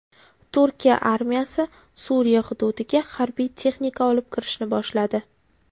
Turkiya armiyasi Suriya hududiga harbiy texnika olib kirishni boshladi.